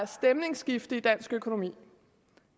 stemningsskifte i dansk økonomi